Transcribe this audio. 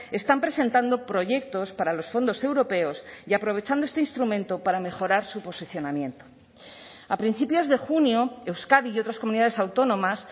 están presentando proyectos para los fondos europeos y aprovechando este instrumento para mejorar su posicionamiento a principios de junio euskadi y otras comunidades autónomas